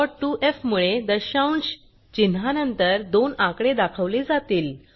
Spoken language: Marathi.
डॉट 2एफ मुळे दशांश चिन्हानंतर दोन आकडे दाखवले जातील